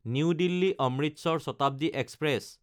new দিল্লী–অমৃতসৰ Shatabdi express